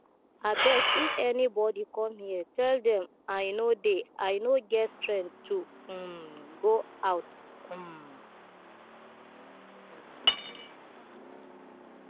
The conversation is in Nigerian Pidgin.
abeg if anybody come here tell dem i no dey i no get strength to um go out um